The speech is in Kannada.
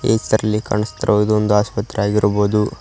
ಇ ಚಿತ್ರದಲ್ಲಿ ಕಾಣುಸ್ತಿರುವುದು ಒಂದು ಆಸ್ಪತ್ರೆಯಾಗಿರಬಹುದು.